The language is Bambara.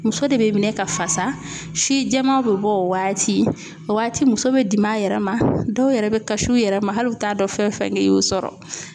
Muso de bɛ minɛ ka fasa si jɛmaw bɛ bɔ o waati o waati muso bɛ dimi a yɛrɛ ma dɔw yɛrɛ bɛ kasi u yɛrɛ ma hali u t'a dɔn fɛn fɛn ne y'u sɔrɔ.